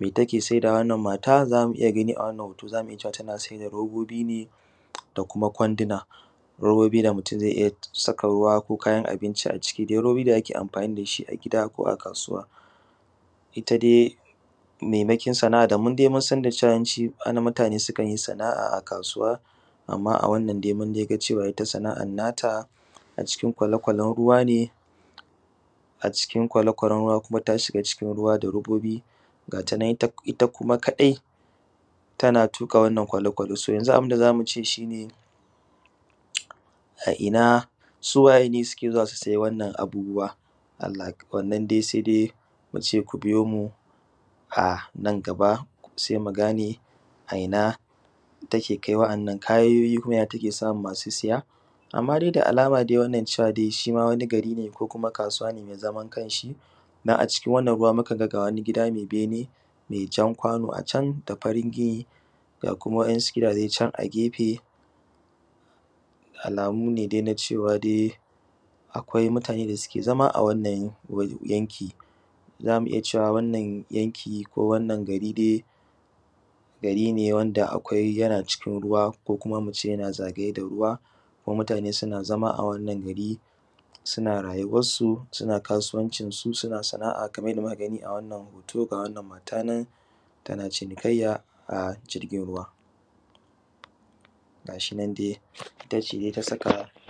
Me take sai dawa wanann mata Zamu iyya gani a wannan hoto zamu iyya cewa tana sai da robobi da kuma kwanduna, robobi da mutun zai iyya saka ruwa ko kayan abinci a ciki robobi da ake amfani dashi a gida ko a kasuwa. Ita dai maimakin sana’a da mu munsan da cewa yawancin mutane su kanyi sana’a a kasuwa amma a wannan dai munga cewa ita sana’an nata a cikin kwale kwalen ruwa ne, a cikin kwale kwalen ruwa kuma ta shiga cikin ruwa da robobi gatanan kuma ita kadai tana tuƙa wannan kwale kwale yanzu abunda zamu iyya ce shine a inna su wayene suke zuwa su sai wannan abubuwa? Wannan dai sai dai muci ku biyomu a nan gaba sai mugane a ina take kai wa ‘yan’ nan kayoyin kuma ya take samun masu siya? Amma dai da alama wannan cewa dai shima wani gari ne ko kuma kasuwa ne mai zaman kanshi dan a cikin wannan ruwa mukaga ga wani gida mai bene mai jan kwano a can me farin gini ga kuma wa ‘yan’ su gidaje can a gefe da alamu ne dai na cewa dai akwai mutane da suke zama a wannan yanki. Zamu iyya cewa wannan yanki ko wannan gari dai gari ne wanda akwai yana cikin ruwa ko kuma muce yana zagaye da ruwa kuma mutane suna zama a wannan gari suna rayuwan su suna kasuwancin su, suna sana’a kamar yanda muka gani a wannan hoto ga wannan mata nan tana cinikayya a jirgin ruwa gashinan dai itace dai ta saka.